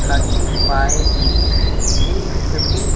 thirty five three fifty --